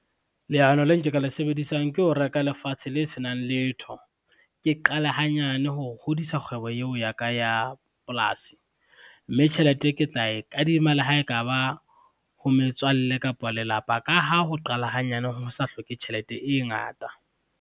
Leano le nke ka le sebedisang ke ho reka lefatshe le senang letho. Ke qale hanyane ho hodisa kgwebo yeo ya ka ya polasi, mme tjhelete ke tla e kadima le ha ekaba ho metswalle kapa lelapa, ka ha ho qala hanyane, ho sa hloke tjhelete e ngata.